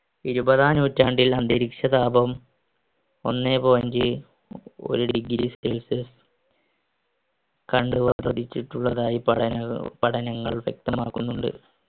ഇരുപതാം നൂറ്റാണ്ടിൽ അന്തരീക്ഷതാപം ഒന്നേ point ഒരു ഡിഗ്രി celsius പഠനങ്ങൾ വ്യക്തമാക്കുന്നുണ്ട്